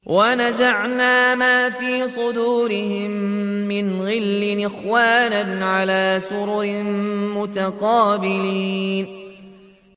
وَنَزَعْنَا مَا فِي صُدُورِهِم مِّنْ غِلٍّ إِخْوَانًا عَلَىٰ سُرُرٍ مُّتَقَابِلِينَ